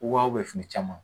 Wa fini caman